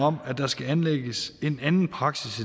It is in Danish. om at der skal anlægges en anden praksis